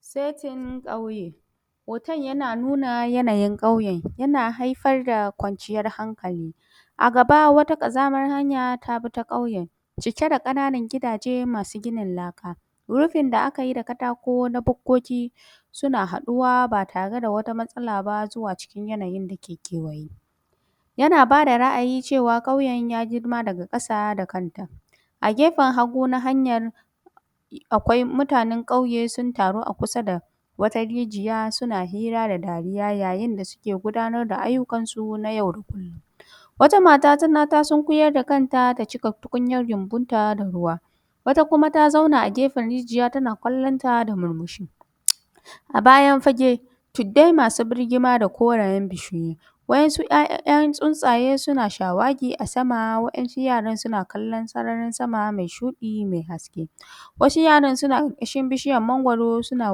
Setin ƙauye. Hoton yana nuna yanayin ƙauyen. Yana haifar da kwanciyar hankali. A gaba wata ƙazamar hanya ta bi ta ƙauyen, cike da ƙananan gidaje masu ginin laka. Rufin da aka yi da katako na bukkoki, suna haɗuwa ba tare da wata matsala ba zuwa cikin yanayin dake kewaye. Yana ba da ra’ayi cewa ƙauyen ya girma daga ƙasa da kanta. A gefen hagu na hanyan, akwai mutanen ƙauye sun taru a kusa da wata rijiya, suna hira da dariya yayin da suke gudanar da ayyukansu na yau da kullun. Wata mata ta sunkuyar da kanta ta cika tukunyar gyambunta da ruwa. Wata kuma ta zauna a gefen rijiya tana kallon ta da murmushi. A bayan fage, tuddai masu birgima da korayen bishiyoyi. Wa’yansu ‘ya’yan tsuntsaye suna shawagi a sama. Waɗansu yara suna kallon sararin sama mai shuɗi mai haske. Wasu yara suna ƙarƙashin bishiyan mangwaro suna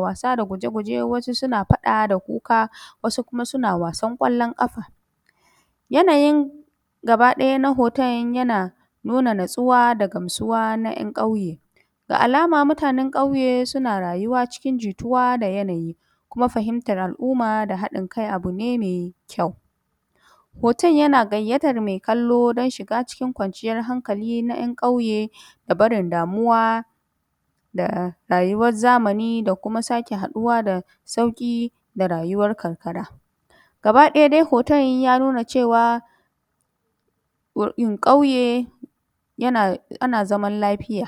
wasa da guje-guje. Wasu suna faɗa da kuka. Wasu kuma suna wasan ƙwallon ƙafa. Yanayin gaba ɗaya na hoton yana nuna natsuwa da gamsuwa na ‘yan ƙauye. Ga alama mutanen ƙauye suna rayuwa cikin jituwa da yanayi, kuma fahimtar al’umma da haɗin kai abu ne mai kyau. Hoton yana gayyatar mai kallo don shiga cikin kwanciyar hankali na ‘yan kauye, da barin damuwa rayuwar zamani, da kuma haɗuwa da sauƙi, da rayuwar karkara. Gaba ɗaya dai hoton ya nuna cewa, ƙauye ana zaman lafiya.